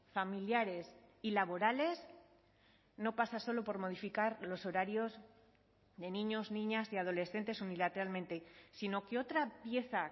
familiares y laborales no pasa solo por modificar los horarios de niños niñas y adolescentes unilateralmente sino que otra pieza